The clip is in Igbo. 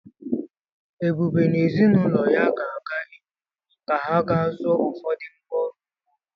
Ebube na ezi na ụlọ ya ga-aga Enugwu ka ha ga zụọ ụfọdụ ngwa ọrụ ugbo.